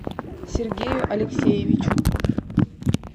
сергею алексеевичу